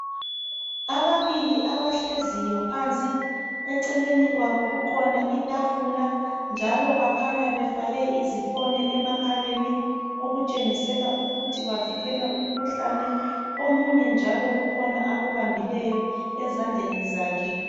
Ababili abahleziyo phansi, eceleni kwabo kukhona itafula njalo bakhanya befake izifonyo emakhaleni okutshengisela ukuthi bavikela umkhuhlane. Omunye njalo kukhona akubambileyo ezandleni zakhe.